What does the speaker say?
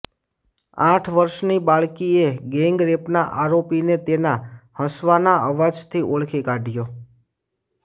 આઠ વર્ષની બાળકીએ ગેંગરેપના આરોપીને તેના હસવાના અવાજથી ઓળખી કાઢ્યો